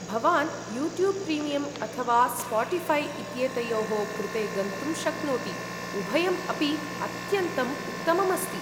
भवान् YouTube premium अथ वा स्पोटीफ़ै इत्येतयोः कृते गन्तुं शक्नोति, उभयम् अपि अत्यन्तं उत्तमम् अस्ति।